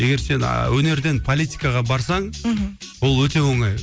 егер сен а өнерден политикаға барсаң мхм ол өте оңай